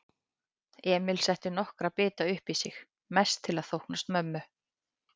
Emil setti nokkra bita uppí sig, mest til að þóknast mömmu.